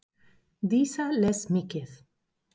Dísa les mikið.